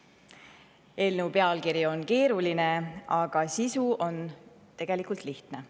Eelnõu pealkiri on keeruline, aga sisu on tegelikult lihtne.